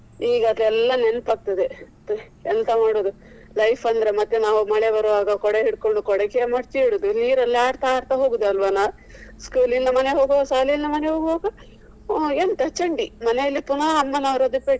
ಈಗ ಅದೆಲ್ಲ ನೆನಪಾಗ್ತದೆ ಮತ್ತೆ ಎಂತ ಮಾಡುದು life ಅಂದ್ರೆ ಮತ್ತೆ ನಾವು ಮಳೆ ಬರ್ವಾಗ ಕೊಡೆ ಹಿಡ್ಕೊಂಡು ಕೊಡೆ ಈಚೆ ಚೀಲ ಮಡಚಿ ಇಡುದು ನೀರಲ್ಲಿ ಆಡ್ತಾ ಆಡ್ತಾ ಹೋಗುದು ಅಲ್ವಾನಾ school ಇಂದ ಮನೆಗೆ ಹೋಗ್ವಾಗ ಶಾಲೆಯಿಂದ ಮನೆಗೆ ಹೋಗ್ವಾಗ ಎಂತ ಚಂಡಿ ಮನೆಯಲ್ಲಿ ಪುನಃ ಅಮ್ಮ ನವ್ರದ್ದು ಪೆಟ್ಟು.